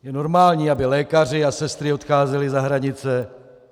Je normální, aby lékaři a sestry odcházeli za hranice?